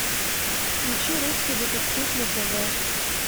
включи русский детектив на тв